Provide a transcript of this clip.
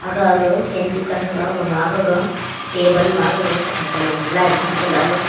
aga fan dukan thega gema gaga table ma kathau sa lung line tham te le.